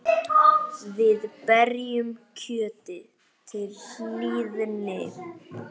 Við berjum kjötið til hlýðni.